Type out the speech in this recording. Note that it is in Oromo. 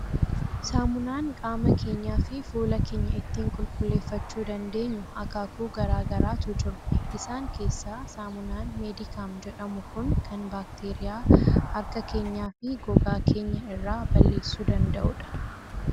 Saamunaan qaama keenyaa fi fuula keenya ittiin qulqulleeffachuu dandeenyu akaakuu garaa garaatu jiru. Isaan keessaa saamunaan "Medicam" jedhamu kun kan baakteeriyaa harka keenyaa fi gogaa keenya irraa balleessuu danda'u dha.